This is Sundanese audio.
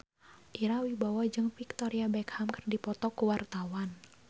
Ira Wibowo jeung Victoria Beckham keur dipoto ku wartawan